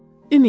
Ümid.